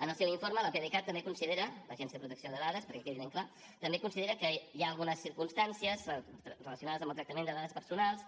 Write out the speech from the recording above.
en el seu informe l’apdcat també considera l’agència de protecció de dades perquè quedi ben clar que hi ha algunes circumstàncies relacionades amb el tractament de dades personals